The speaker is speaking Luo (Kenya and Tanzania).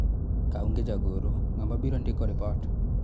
kaonge jagoro , ng'ama biro ndiko ripot